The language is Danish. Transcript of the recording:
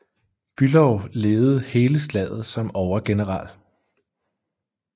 Bülow ledede hele slaget som overgeneral